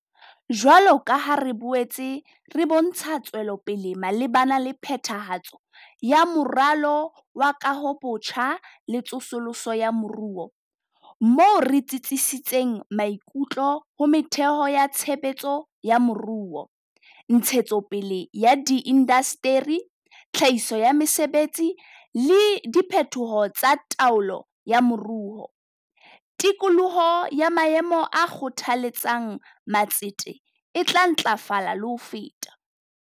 Jwalo ka ha re boetse re bontsha tswelopele malebana le phethahatso ya Moralo wa Kahobotjha le Tsosoloso ya Moruo - moo re tsitsisitseng maikutlo ho metheo ya tshe betso ya moruo, ntshetsopele ya diindasteri, tlhahiso ya mesebetsi, le diphetoho tsa taolo ya moruo - tikoloho ya maemo a kgothaletsang ma tsete e tla ntlafala le ho feta.